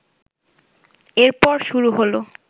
এরপর শুরু হল